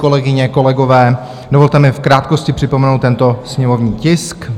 Kolegyně, kolegové, dovolte mi v krátkosti připomenout tento sněmovní tisk.